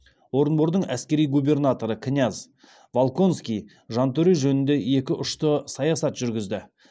орынбордың әскери губернаторы князь волконский жантөре жөнінде екі ұшты саясат жүргізді